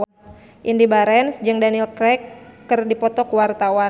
Indy Barens jeung Daniel Craig keur dipoto ku wartawan